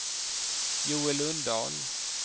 Joel Lundahl